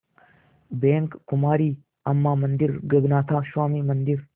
bank कुमारी अम्मां मंदिर गगनाथा स्वामी मंदिर